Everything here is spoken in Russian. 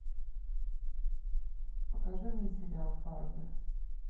покажи мне сериал фарго